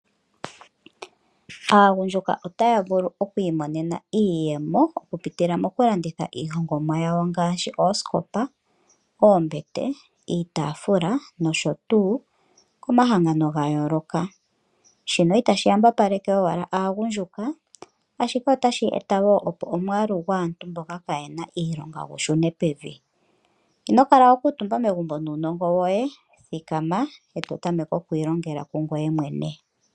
Aagundjuka otaya vulu okwiimonena iiyemo okupitila molanditha iihongomwa ngaashi oosikopa, oombete, iitaafula nosho tuu komahangano gayooloka. Shino itashi yambapaleke owala aagundjuka ihe otashi eta woo omwaalu gwaantu mboka kaaye na iilonga gushune pevi. Ino kala wakuutumba megumbo nuunongo woye thikama eto tameke ikwiilongela kungoye mwene.